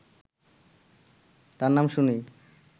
তার নাম শুনেই